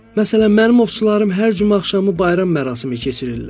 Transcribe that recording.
Məsələn, mənim ovçularım hər cümə axşamı bayram mərasimi keçirirlər.